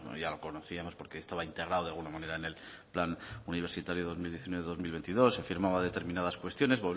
ya lo conocíamos porque estaba integrado de alguna manera en el plan universitario dos mil diecinueve dos mil veintidós se firmaba determinadas cuestiones